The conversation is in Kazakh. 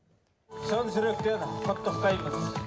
шын жүректен құттықтаймыз